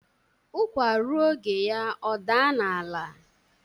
Ukwa ruo oge ya o daa n'ala